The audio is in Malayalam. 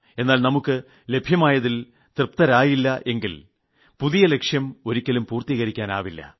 എന്നാൽ നമുക്ക് ലഭ്യമായതിൽ തൃപ്തരായില്ല എങ്കിൽ പുതിയ ലക്ഷ്യം ഒരിക്കലും പൂർത്തികരിക്കാനാവില്ല